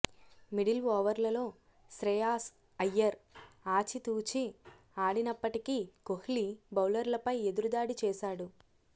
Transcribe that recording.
middle ఓవర్లలో శ్రేయాస్ అయ్యర్ ఆచితూచి ఆడినప్పటికీ కోహ్లీ బౌలర్లపై ఎదురుదాడి చేశాడు